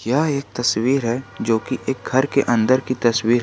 यह एक तस्वीर है जो की एक घर के अंदर की तस्वीर है।